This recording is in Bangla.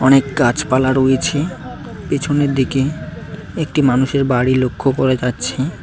অনেক গাছপালা রয়েছে পেছনের দিকে একটি মানুষের বাড়ি লক্ষ করা যাচ্ছে।